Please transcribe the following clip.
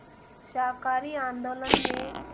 शाकाहारी आंदोलन में